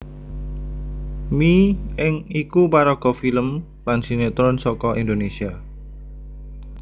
Mi Ing iku paraga film lan sinétron saka Indonésia